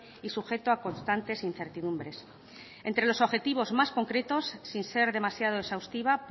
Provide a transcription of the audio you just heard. y sujeto a constantes incertidumbres entre los objetivos más concretos sin ser demasiado exhaustiva